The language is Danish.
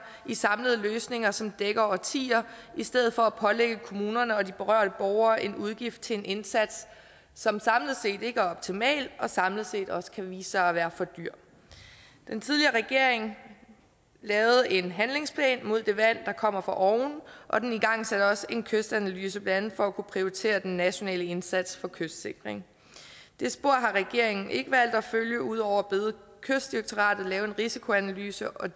i samlede løsninger som dækker årtier i stedet for at pålægge kommunerne og de berørte borgere en udgift til en indsats som samlet set ikke er optimal og samlet set også kan vise sig at være for dyr den tidligere regering lavede en handlingsplan mod det vand der kommer fra oven og den igangsatte også en kystanalyse blandt andet for at kunne prioritere den nationale indsats for kystsikring det spor har regeringen ikke valgt at følge ud over at bede kystdirektoratet lave en risikoanalyse og